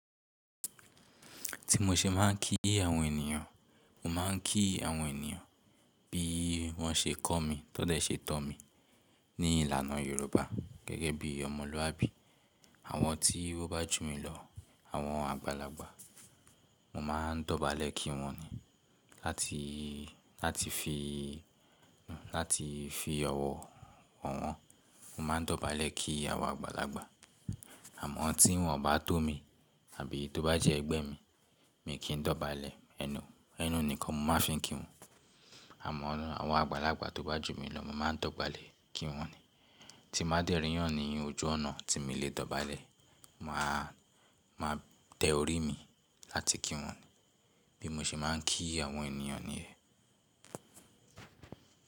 Ti mo ṣe máà ń kí àwọn ènìyàn, mo máà ń kí àwọn ènìyàn bí wọ́n ṣe kọ́ mi, tọ dẹ ṣe tọ́ mi ní ìlànà Yorùbá gẹ́gẹ́ bí ọmọlúàbí. Àwọn tí wọ́n bá jù mí lọ, àwọn àgbàlagbà, mo ma ń dọ̀bálẹ̀ kí wọ́n ni. Láti fi, lati fi ọ̀wọ̀ wo wọ́n, mo ma ń dọ̀bálẹ̀ kí àwọn àgbàlagbà. Àmọ́ tí wọ́n bá tó mi, àbí tó bá jẹ́ ẹgbẹ́ mi, mi kì í dọ̀bálẹ̀, ẹnu enu nìkan mo máa fi ń kí wọn. Àmọ́ àwọn àgbàlagbà tó bá jù mí lọ mo ma ń dọ̀bálẹ̀ kí wọ́n ni. Tí n ba dẹ̀ ríiyan ni ojú ọ̀nà tí mi i le dọ̀bálẹ̀, màá tẹ orí mi láti kí wọ́n. Bí mo ṣe máà ń kí àwọn ènìyàn nìyẹn.